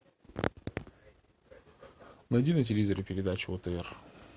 найди на телевизоре передачу отр